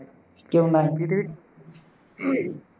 কেও নাই